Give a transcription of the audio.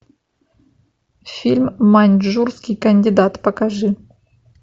фильм маньчжурский кандидат покажи